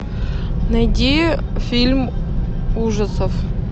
найди фильм ужасов